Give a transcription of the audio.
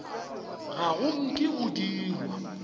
ga go nke go dirwa